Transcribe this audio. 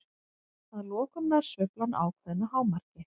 Að lokum nær sveiflan ákveðnu hámarki.